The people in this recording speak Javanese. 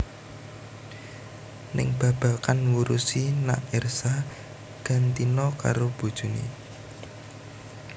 Ning babagan ngurusi nak Ersa gantina karo bojoné